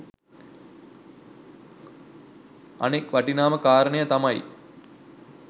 අනෙක් වටිනාම කාරණය තමයි